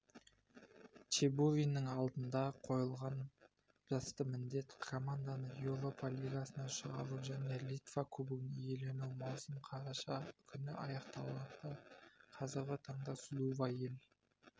чебуриннің алдына қойылған басты міндет команданы еуропа лигасына шығару және литва кубогын иелену маусым қараша күні аяқталады қазіргі таңда судува ел